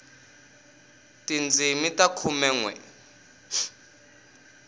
tindzimi ta khume nwe